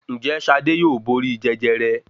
Ǹ jé Ṣadé yóò borí Jẹjẹrẹ?